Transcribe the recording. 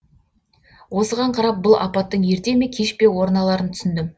осыған қарап бұл апаттың ерте ме кеш пе орын аларын түсіндім